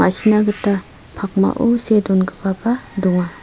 m·a·sina gita pakmao see dongipaba donga.